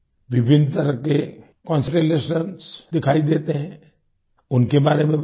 विभिन्न तरह के कॉन्स्टेलेशंस दिखाई देते हैं उनके बारे में बताएं